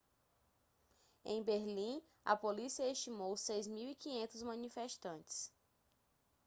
em berlim a polícia estimou 6.500 manifestantes